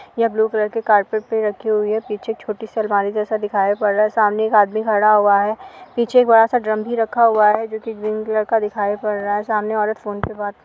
यह blue colour के carpet पे रखी हुई है। पीछे एक छोटी सी अलमारी जैसा दिखाई पड़ रहा है। सामने एक आदमी खड़ा हुआ है। पीछे एक बड़ा सा ड्रम भी रखा हुआ है जो कि ग्रीन कलर का दिखाई पड़ रहा है। सामने औरत फोन पे बात --